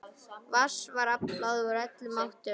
Vatns var aflað úr öllum áttum.